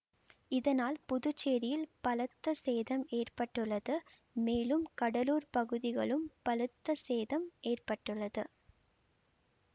இதனால் புதுச்சேரியில் பலத்த சேதம் ஏற்பட்டுள்ளது மேலும் கடலூர் பகுதிகலும் பலத்த சேதம் ஏற்பட்டுள்ளது